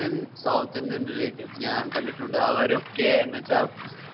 south indian realatives ഞാൻ കണ്ടിട്ടുണ്ട് അവരൊക്കെ എന്ന് വെചാ